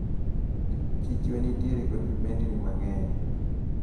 Chichwa nitiere kod Vibendni mang`eny.